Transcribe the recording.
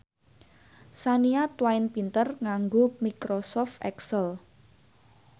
Shania Twain pinter nganggo microsoft excel